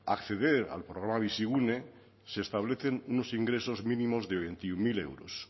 acceder al programa bizigune se establecen unos ingresos mínimos de veintiuno mil euros